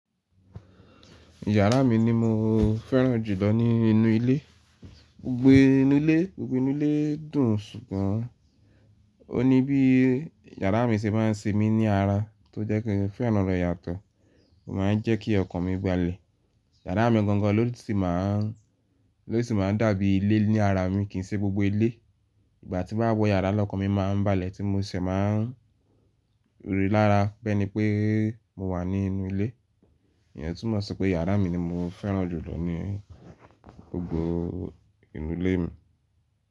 Yàrá mi ni mo fẹ́ràn jùlọ nínú ilé. Gbogbo inú ilé, gbogbo inú ilé dùn ṣùgbọ́n, vó ní bí yàrá mi ṣe má a ń semi ní ara tó jẹ́ kí n fẹ́ràn ibe yàtọ̀. Ó má a ń jẹ́ kí ọkàn mi balẹ̀. Yàrá mi gangan ló ti má a ń, ló ti má a ń dàbí ilé ni ara mi kì í ṣe gbogbo ilé. Ìgbà tí baba wọ yàrá lọ́kàn mi má a ń balẹ̀ tí mo ṣẹ̀ má a ń rí lára be ni pé mo wà nínú ilé. Ìyẹn túmọ̀ sí pé yàrá mi ni mo fẹ́ràn jùlọ nínú gbogbo inú ilé mi.